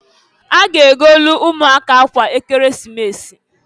A ga-egolu umuaka akwa Ekeresimesi.